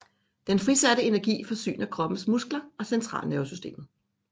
Den frisatte energi forsyner kroppens muskler og centralnervesystemet